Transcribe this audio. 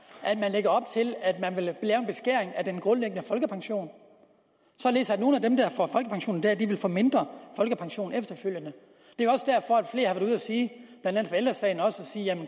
at man lægger op til at man vil lave en beskæring af den grundlæggende folkepension således at nogle af dem der får folkepension i dag vil få en mindre folkepension efterfølgende det